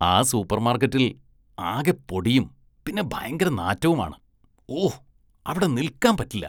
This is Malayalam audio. ആ സൂപ്പര്‍മാര്‍ക്കറ്റില്‍ ആകെ പൊടിയും പിന്നെ ഭയങ്കര നാറ്റവുമാണ്, ഓ, അവിടെ നില്‍ക്കാന്‍ പറ്റില്ല.